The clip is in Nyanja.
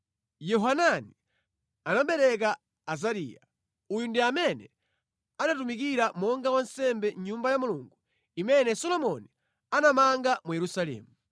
Yohanani anabereka Azariya (uyu ndi amene anatumikira monga wansembe mʼNyumba ya Mulungu imene Solomoni anamanga mu Yerusalemu),